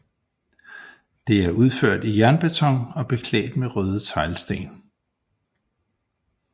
Det er udført i jernbeton og beklædt med røde teglsten